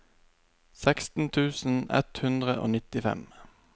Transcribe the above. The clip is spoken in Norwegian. seksten tusen ett hundre og nittifem